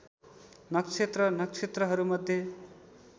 नक्षत्र नक्षत्रहरूमध्ये